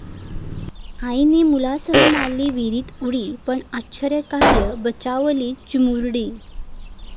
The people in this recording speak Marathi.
आईनं मुलांसह मारली विहिरीत उडी, पण आश्चर्यकारक बचावली चिमुरडी